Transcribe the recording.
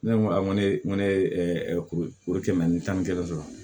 Ne ko a n ko ne ko ne ye kuru kɛmɛ ni tan ni kelen sɔrɔ